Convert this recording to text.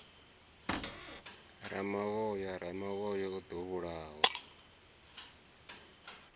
ramavhoya ramavhoya o ḓo vhulawa